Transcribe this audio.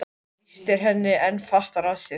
Hann þrýstir henni enn fastar að sér.